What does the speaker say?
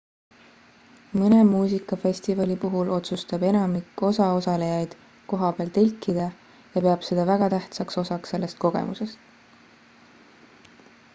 mõne muusikafestivali puhul otsustab enamik osaosalejaid kohapeal telkida ja peab seda väga tähtsaks osaks sellest kogemusest